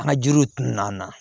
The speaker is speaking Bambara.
An ka jiriw tun na an na